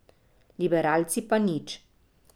Liberalci pa nič.